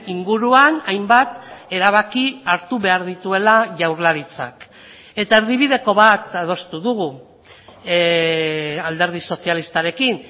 inguruan hainbat erabaki hartu behar dituela jaurlaritzak eta erdibideko bat adostu dugu alderdi sozialistarekin